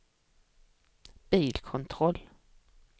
bilkontroll